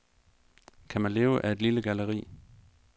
Kan man leve af et lille galleri?